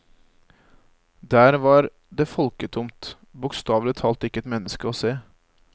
Der var det folketomt, bokstavelig talt ikke et menneske å se.